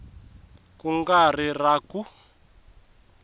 ku nga ri na ku